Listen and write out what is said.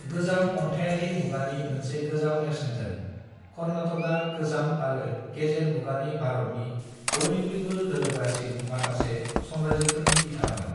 गोजाम अन्थायारि मुगानि मोनसे गोजाम नेरसोनजों, कर्नाटकआ गोजाम आरो गेजेर मुगानि भारतनि बयनिख्रुयबो गोहोगोरासिन माखासे साम्राज्यफोरनि बिथामोन।